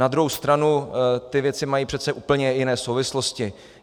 Na druhou stranu ty věci mají přece úplně jiné souvislosti.